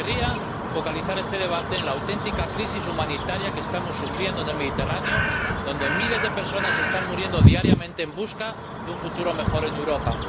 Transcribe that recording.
Y querría focalizar este debate en la auténtica crisis humanitaria que estamos sufriendo en el Mediterráneo, donde miles de personas están muriendo diariamente en busca de un futuro mejor en Europa.